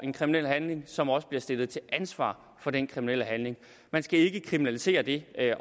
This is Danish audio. en kriminel handling som også bliver stillet til ansvar for den kriminelle handling man skal ikke kriminalisere det at